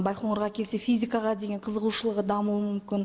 байқоңырға келсе физикаға деген қызығушылығы дамуы мүмкін